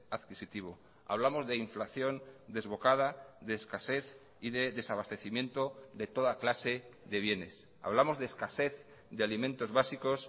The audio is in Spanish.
adquisitivo hablamos de inflación desbocada de escasez y de desabastecimiento de toda clase de bienes hablamos de escasez de alimentos básicos